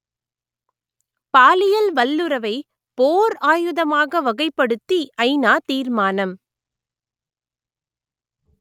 பாலியல் வல்லுறவை போர் ஆயுதமாக வகைப்படுத்தி ஐநா தீர்மானம்